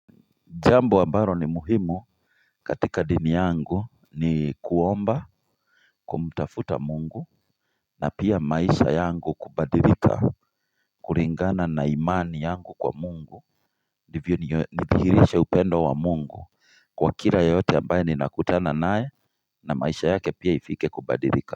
Jambo ambalo ni muhimu katika dini yangu, ni kuomba kumtafuta mungu na pia maisha yangu kubadilika kulingana na imani yangu kwa mungu Hivyo nidihirishe upendo wa mungu kwa kila yoyote ambaye ninakutana nae na maisha yake pia ifike kubadilika.